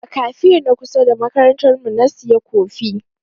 A kafe na kusa da makarantar mu na sayi kofi.